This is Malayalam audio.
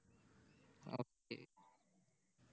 Okay